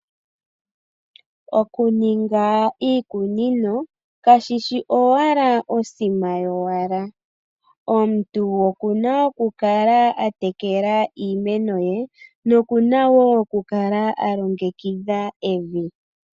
Okuninga iikunino kashishi owala osima yowala . Omuntu okuna okukala atekela iimeno ye nokuna wo okukala alongekidha evi.